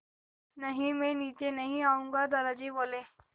नहीं मैं नीचे नहीं आऊँगा दादाजी बोले